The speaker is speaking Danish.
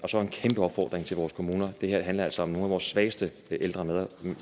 så en kæmpe opfordring til vores kommuner det her handler altså om nogle af vores svageste ældre